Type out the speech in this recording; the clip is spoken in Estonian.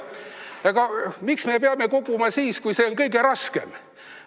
Aga miks me peame koguma siis, kui see on kõige raskem?